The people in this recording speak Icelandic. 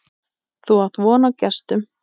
Þú átt von á gestum.